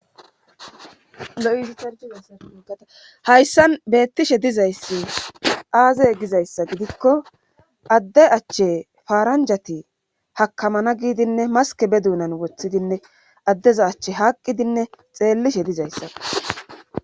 Lo'a hayssan beettishe dizayssi aazey gizayssa gidikko adde achche faaranjati hakamana giidinne maske be duunan woththidinne addeza achche haaqqidinne xeellishe dizayssa.